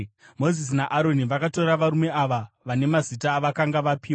Mozisi naAroni vakatora varume ava vane mazita avakanga vapiwa,